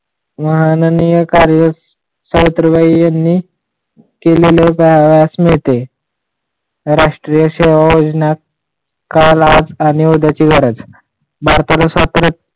माननी सावित्रीबाईं केले राष्ट्रीय सेवा योजनात कल, आज आरणि उद्या ची गरज